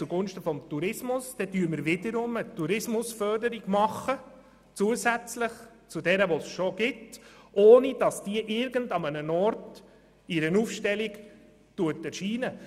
Damit würden wir eine Tourismusförderung zusätzlich zu derjenigen machen, die es bereits gibt, ohne dass diese irgendwo in einer Aufstellung erscheint.